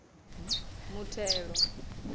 muthelo